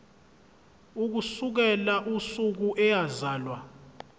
ukusukela usuku eyazalwa